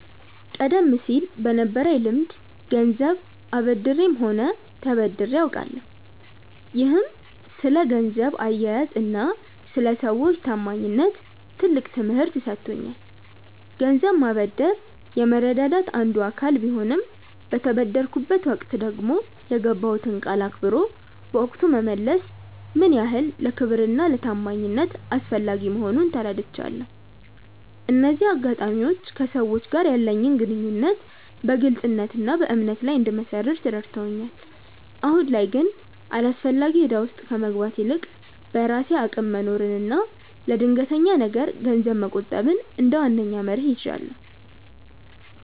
ቀደም ሲል በነበረኝ ልምድ ገንዘብ አበድሬም ሆነ ተበድሬ አውቃለሁ፤ ይህም ስለ ገንዘብ አያያዝና ስለ ሰዎች ታማኝነት ትልቅ ትምህርት ሰጥቶኛል። ገንዘብ ማበደር የመረዳዳት አንዱ አካል ቢሆንም፣ በተበደርኩበት ወቅት ደግሞ የገባሁትን ቃል አክብሮ በወቅቱ መመለስ ምን ያህል ለክብርና ለታማኝነት አስፈላጊ መሆኑን ተረድቻለሁ። እነዚህ አጋጣሚዎች ከሰዎች ጋር ያለኝን ግንኙነት በግልጽነትና በእምነት ላይ እንድመሰርት ረድተውኛል። አሁን ላይ ግን አላስፈላጊ እዳ ውስጥ ከመግባት ይልቅ፣ በራሴ አቅም መኖርንና ለድንገተኛ ነገር ገንዘብ መቆጠብን እንደ ዋነኛ መርህ ይዣለሁ።